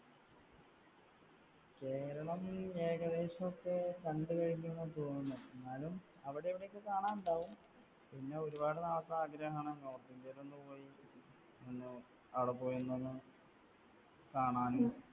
കേരളം ഏകദേശമൊക്കെ കണ്ടുകഴിഞ്ഞു എന്നാണ് തോന്നുന്നേ. എന്നാലും അവിടെ ഇവിടെയൊക്കെ കാണാൻ ഉണ്ടാവും. പിന്നെ ഒരുപാട് നാളത്തെ ആഗ്രഹമാണ് North India യിലൊന്നു പോയി ഒന്ന് അവിടെ പോയി ഒന്ന് കാണാനും